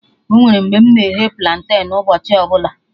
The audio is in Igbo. Onwere mgbe mụ na-eghe planten ụbọchị ọbụla